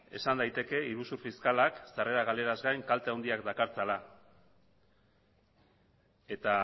esan daiteke iruzur fiskalak sarrera galeraz gain kalte handiak dakartzala eta